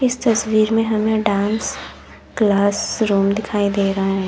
इस तस्वीर में हमें डांस क्लास रूम दिखाई दे रहा है।